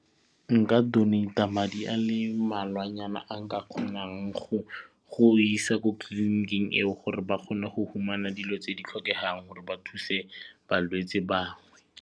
Nka donate-a madi a le mmalwanyana a nka kgonang go go isa ko clinic-ing eo gore ba kgone go fumana dilo tse di tlhokegang gore ba thuse balwetsi bangwe.